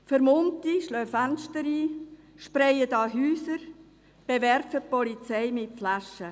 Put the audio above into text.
Vermummte schlagen Fenster ein, besprayen Häuser oder bewerfen die Polizei mit Flaschen.